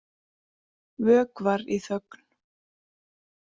Vökvar í þögn.